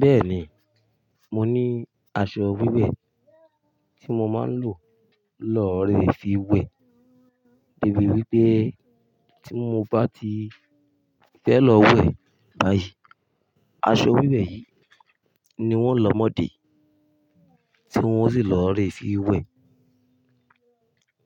Bẹ́ẹ̀ni, mo ní aṣọ wíwẹ̀ tó mo máa ń lò lọ́ rẹ fi wẹ̀ débi wípé tí mo bá ti fẹ́ lọ wẹ̀ báyìí, aṣọ wíwẹ̀ yìí ni wón ń lọ́ mọ́ di tí wón sì lọ́ rẹ fi wẹ̀.